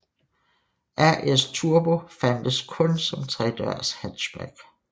RS Turbo fandtes kun som tredørs hatchback